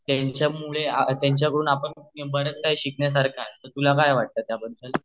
त्यांच्या मुळे आपण बराच काही शिकण्य सारख आहे